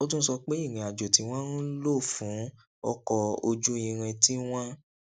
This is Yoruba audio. ó tún sọ pé ìrìn àjò tí wón ń lò fún ọkò ojú irin tí wón